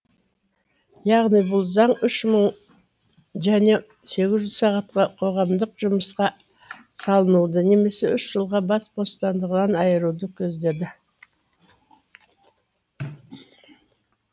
яғни бұл заң үш мың және сегіз жүз сағатқа қоғамдық жұмысқа салынуды немесе үш жылға бас бостандығынан айыруды көздейді